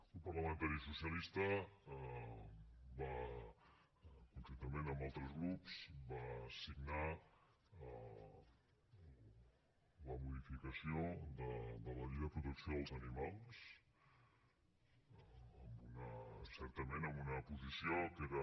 el grup parlamentari socialista conjuntament amb altres grups va signar la modificació de la llei de protecció dels animals certament amb una posició que era